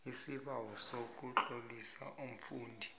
isibawo sokutlolisa umfundi